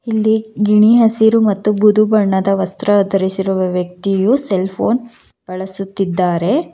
ಇಲ್ಲಿ ಗಿಣಿ ಹಸಿರು ಮತ್ತು ಬುದು ಬಣ್ಣದ ವಸ್ತ್ರ ಧರಿಸಿರುವ ವ್ಯಕ್ತಿಯು ಸೆಲ್ ಫೋನ್ ಬಳಸುತ್ತಿದ್ದಾರೆ.